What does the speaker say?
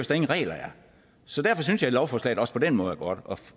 der ingen regler er så derfor synes jeg at lovforslaget også på den måde er godt